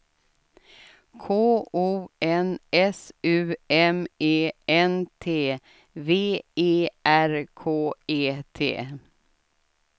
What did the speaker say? K O N S U M E N T V E R K E T